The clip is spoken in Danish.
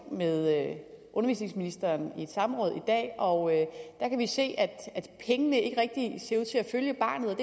med undervisningsministeren i et samråd i dag og der kan vi se at pengene ikke rigtig ser ud til at følge barnet og